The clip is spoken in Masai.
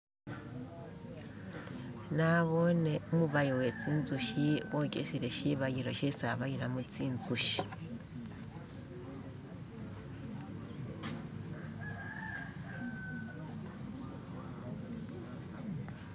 Nabone umubayi uwezinzuki bogesele shibayilo shesi abayilamo zinzuki